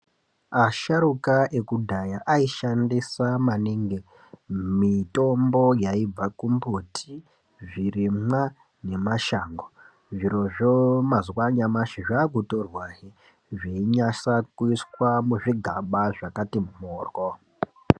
Asharuka ekudhaya aishandisa maningi mitombo yaibva kumiti zvirimwa ngemashango zvirozvo mazuwa anyamashi zvakutorwahe zveinatsakuiswa muzvigaba zvakati mhoryo.